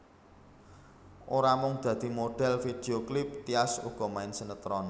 Ora mung dadi modhél video klip Tyas uga main sinetron